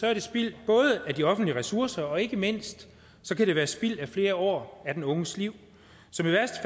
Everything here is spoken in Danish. er det spild af de offentlige ressourcer og ikke mindst kan det være spild af flere år af den unges liv